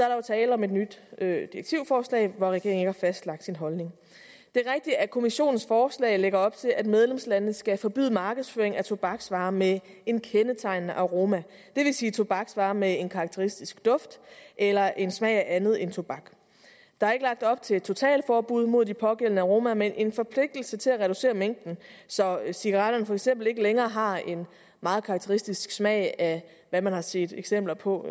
er der tale om et nyt direktivforslag hvor regeringen har fastlagt sin holdning det er rigtigt at kommissionens forslag lægger op til at medlemslandene skal forbyde markedsføring af tobaksvarer med en kendetegnende aroma det vil sige tobaksvarer med en karakteristisk duft eller en smag af andet end tobak der er ikke lagt op til et totalforbud mod de pågældende aromaer men en forpligtelse til at reducere mængden så cigaretterne for eksempel ikke længere har en meget karakteristisk smag af hvad man har set eksempler på